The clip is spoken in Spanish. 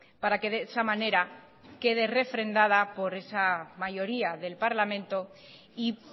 para que de esa manera quede refrendada por esa mayoría del parlamento y